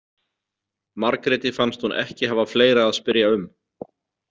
Margréti fannst hún ekki hafa fleira að spyrja um.